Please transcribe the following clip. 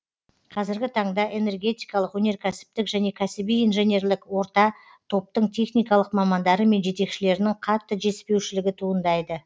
қазіргі таңда энергетикалық өнеркәсіптік және кәсіби инженерлік орта топтың техникалық мамандары мен жетекшілерінің қатты жетіспеушілігі туындайды